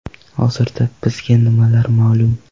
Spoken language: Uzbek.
Hozirda bizga nimalar ma’lum?